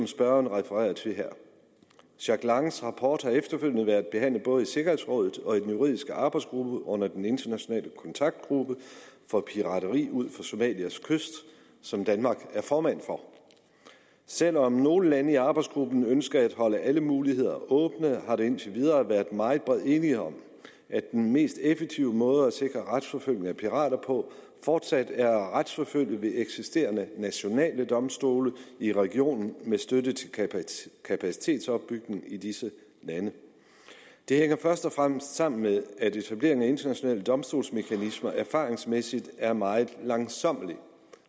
spørgeren refererer til her jack langs rapport har efterfølgende været behandlet både i sikkerhedsrådet og i den juridiske arbejdsgruppe under den internationale kontaktgruppe for pirateri ud for somalias kyst som danmark er formand for selv om nogle lande i arbejdsgruppen ønsker at holde alle muligheder åbne har der indtil videre været meget bred enighed om at den mest effektive måde at sikre retsforfølgelse af pirater på fortsat er at retsforfølge ved eksisterende nationale domstole i regionen med støtte til kapacitetsopbygning i disse lande det hænger først og fremmest sammen med at etablering af internationale domstolsmekanismer erfaringsmæssigt er meget langsommelig